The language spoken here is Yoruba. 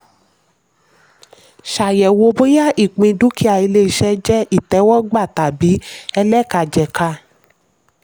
ṣayẹwo bóyá ìpín dúkìá ilé-iṣẹ́ jẹ́ ìtẹ̀wọ́gbà tàbí ẹlẹ́kajẹ̀ka.